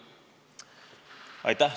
Aitäh!